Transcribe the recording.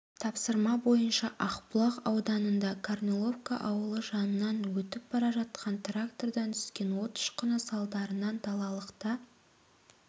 тапсырма бойынша ақбұлақ ауданында корниловка ауылы жанынан өтіп бара жатқан трактордан түскен от ұшқыны салдарынан далалықта